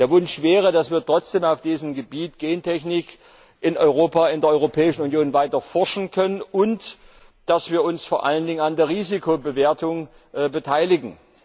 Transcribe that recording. Der Wunsch wäre, dass wir trotzdem auf diesem Gebiet Gentechnik in Europa, in der Europäischen Union weiter forschen können und dass wir uns vor allen Dingen an der Risikobewertung beteiligen.